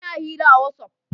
Ina hira a Whatsaf